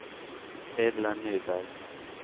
Edla Nyberg